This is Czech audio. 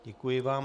Děkuji vám.